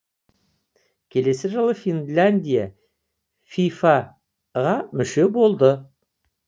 келесі жылы финляндия фифа ға мүше болды